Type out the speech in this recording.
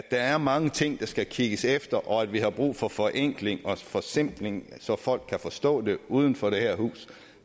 er mange ting der skal kigges efter og vi har brug for forenkling og forsimpling så folk kan forstå det uden for det her hus